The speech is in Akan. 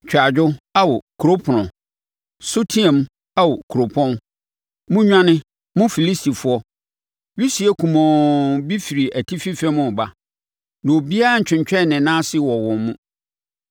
Twa adwo, Ao kuro ɛpono! Su teaam Ao kuropɔn! Monnwane, mo Filistifoɔ! Wisie kumɔnn bi firi atifi fam reba, na obiara ntwentwɛn ne nan ase wɔ wɔn mu.